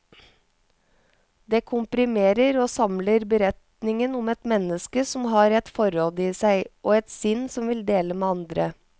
Det komprimerer og samler beretningen om et menneske som har et forråd i seg, og et sinn som vil dele med andre.